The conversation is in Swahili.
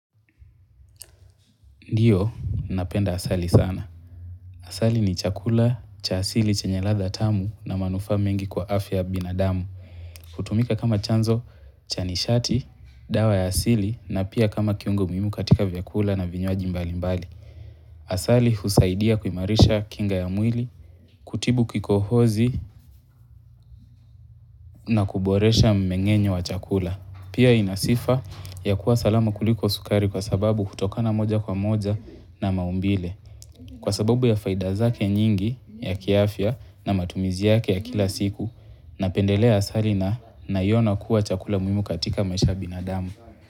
Ndiyo, napenda asali sana. Asali ni chakula, cha asili chenye ladha tamu na manufaa mengi kwa afya ya binadamu. Hutumika kama chanzo, cha nishati, dawa ya asili na pia kama kiungo muhimu katika vyakula na vinywaji mbali mbali. Asali husaidia kuimarisha kinga ya mwili, kutibu kikohozi na kuboresha mmeng'enyo wa chakula. Pia ina sifa ya kuwa salama kuliko sukari kwa sababu kutokana moja kwa moja na maumbile. Kwa sababu ya faida zake nyingi ya kiafya na matumizi yake ya kila siku napendelea asali na naiona kuwa chakula muhimu katika maisha ya binadamu.